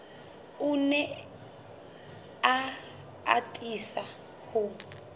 o ne a atisa ho